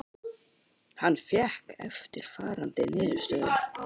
Hann fékk eftirfarandi niðurstöðu: